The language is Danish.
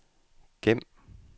gem